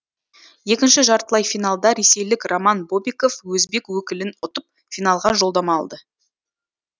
екінші жартылай финалда ресейлік роман бобиков өзбек өкілін ұтып финалға жолдама алды